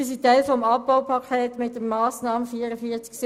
Sie sind Teil des Abbaupakets mit der Massnahme 44.71.